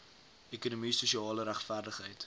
ekonomie sosiale regverdigheid